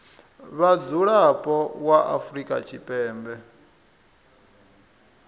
vha mudzulapo wa afrika tshipembe